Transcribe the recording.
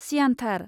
सियानथार।